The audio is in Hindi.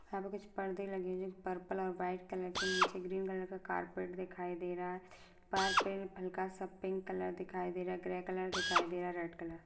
यहाँ पे कुछ पर्दे लगे पर्पल और वाइट कलर के नीचे ग्रीन कलर का कारपेट दिखाई दे रहा है हल्का सा पिंक कलर दिखाई दे रहा हैं ग्रे कलर दिखाई दे रहा रेड कलर। --